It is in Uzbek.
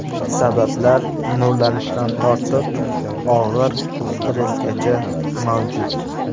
Sabablar nurlanishdan tortib, og‘ir stressgacha mavjud.